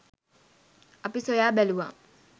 අපි සොයා බැලුවා